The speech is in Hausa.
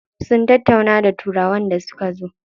Sun tattauna da turawan da suka zo.